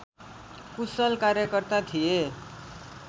कुशल कार्यकर्ता थिए